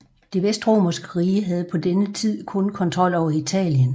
Det Vestromerske rige havde på denne tid kun kontrol over Italien